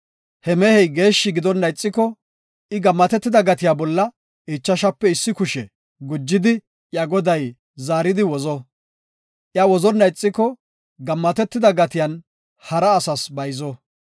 He mehey geeshshi gidonna ixiko, I gammatetida gatiya bolla ichashape issi kushe gujidi iya goday zaaridi wozo. I wozonna ixiko, gammatetida gatiyan hara asas bayzeto.